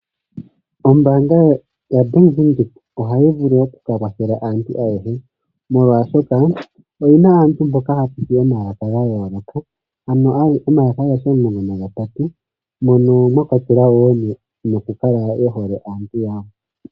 Ombaanga yaBank Windhoek ohayi vulu oku ka kwathela aantu ayehe, molwashoka oyi na aantu mboka haya popi omalaka ga yooloka, ano omalaka agehe omulongo nagatatu mono mwa kwatelwa wo nokukala ye hole aantu yawo.